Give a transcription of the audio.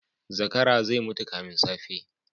Zakara zai mutu kafin safe.